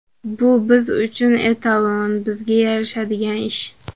Bu biz uchun etalon, bizga yarashadigan ish.